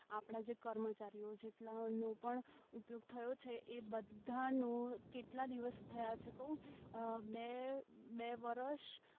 આપણા જે કર્મચારીઓ જેટલા નું પણ ઉપયોગ થયો છે એ બધાનું કેટલા દિવસ થયા છે કવ બે બે વર્ષ